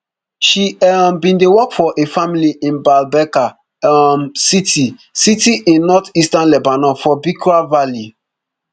she um bin dey work for a family in baalbeka um city city in northeastern lebanon for beqaa valley